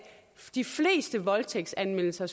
de fleste voldtægtsanmeldelser